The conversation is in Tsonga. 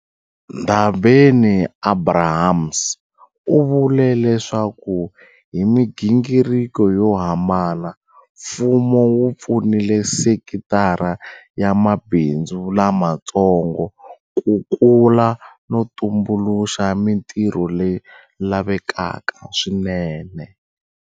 Ndabeni-Abrahams u vule leswaku hi migingiriko yo hambana, mfumo wu pfunile sekitara ya mabindzu lamatsongo ku kula no tumbuluxa mitirho leyi lavekaka swinene.